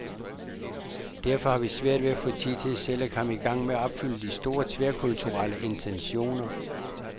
Derfor har vi haft svært ved at få tid til selv at komme i gang med at opfylde de store, tværkulturelle intentioner.